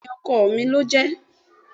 bẹẹni, ọkò mí lojé